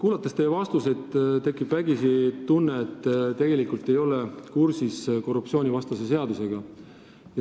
Kuulates teie vastuseid, tekib vägisi tunne, et te tegelikult ei ole kursis korruptsioonivastase seadusega.